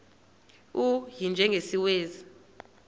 u y njengesiwezi